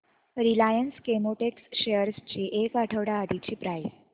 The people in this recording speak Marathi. रिलायन्स केमोटेक्स शेअर्स ची एक आठवड्या आधीची प्राइस